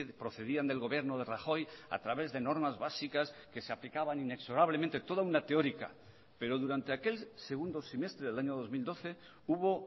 procedían del gobierno de rajoy a través de normas básicas que se aplicaban inexorablemente toda una teórica pero durante aquel segundo semestre del año dos mil doce hubo